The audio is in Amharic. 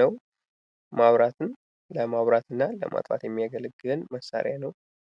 ነው መብራትን ለማብራትና ለማጥፋት የሚያገለግል መሳሪያ ነው።